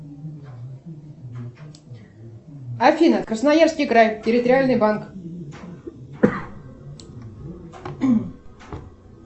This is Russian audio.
афина красноярский край территориальный банк